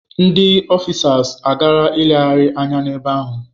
Ndi ọfịsas agaara legharịa anya n'ebe ahụ.